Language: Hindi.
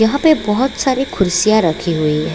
यहाँ पे बहोत सारे खुर्सियां रखी हुई है।